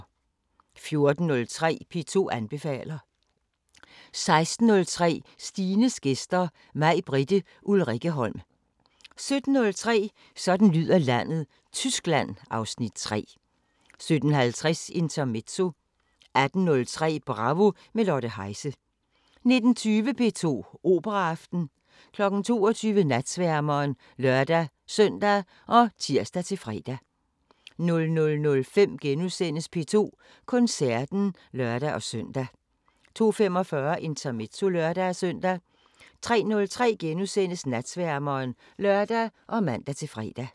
14:03: P2 anbefaler 16:03: Stines gæster: Majbritte Ulrikkeholm 17:03: Sådan lyder landet: Tyskland (Afs. 3) 17:50: Intermezzo 18:03: Bravo – med Lotte Heise 19:20: P2 Operaaften 22:00: Natsværmeren (lør-søn og tir-fre) 00:05: P2 Koncerten *(lør-søn) 02:45: Intermezzo (lør-søn) 03:03: Natsværmeren *(lør og man-fre)